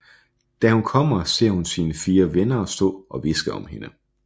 Da hun kommer hjem ser hun sine fire venner stå og hviske om hende